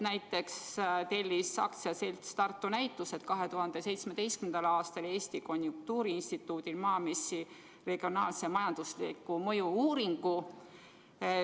Näiteks AS Tartu Näitused tellis 2017. aastal Eesti Konjunktuuriinstituudilt Maamessi kohta regionaalse majandusliku mõju uuringu.